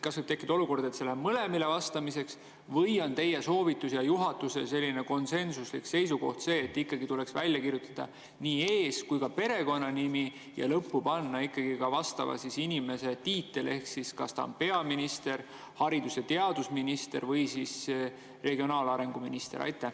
Kas võib tekkida olukord, et see läheb vastamiseks mõlemale, või on teie soovitus ja juhatuse konsensuslik seisukoht see, et tuleks ikkagi välja kirjutada nii ees‑ kui ka perekonnanimi ja lõppu panna vastava inimese tiitel ehk kas ta on peaminister, haridus‑ ja teadusminister või siis regionaalminister?